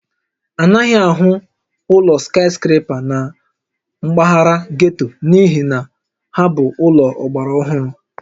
A naghị ahụ ụlọ skaịskrepa na mpaghara getto n'ihi na ha bụ ụlọ ọgbara ọhụrụ